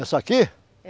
Essa aqui? É